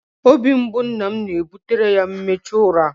Obi mgbu nna m na-ebutere ya mmechu ụra.